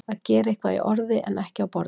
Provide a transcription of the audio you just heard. Að gera eitthvað í orði en ekki á borði